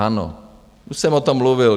Ano, už jsem o tom mluvil.